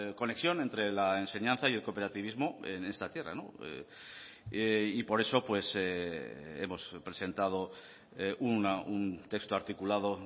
conexión entre la enseñanza y el cooperativismo en esta tierra y por eso hemos presentado un texto articulado